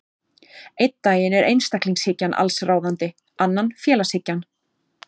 Einn daginn er einstaklingshyggjan allsráðandi, annan félagshyggjan.